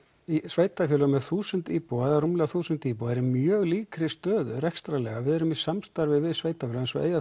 sveitarfélögum með þúsund íbúa eða rúmlega þúsund íbúa eru í mjög líkri stöðu rekstrarlega við erum í samstarfi við sveitarfélög eins og